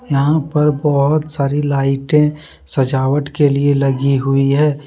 यहां पर बहुत सारी लाइटें सजावट के लिए लगी हुई है।